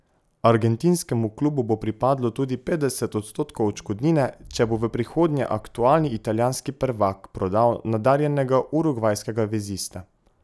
Argentinskemu klubu bo pripadlo tudi petdeset odstotkov odškodnine, če bo v prihodnje aktualni italijanski prvak prodal nadarjenega urugvajskega vezista.